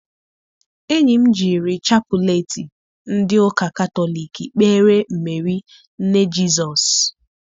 Enyi m jiri chapụleetị ndị ụka katọliki kpeere Meeri nne Jizọs.